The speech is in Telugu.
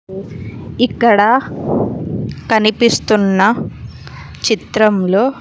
ఇక్కడ కనిపిస్తున్న చిత్రంలో.